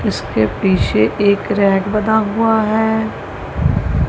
उसके पीछे एक रैक बना हुआ है।